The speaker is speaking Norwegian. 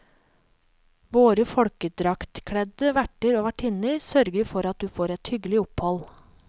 Våre folkedraktkledde verter og vertinner sørger for at du får et hyggelig opphold.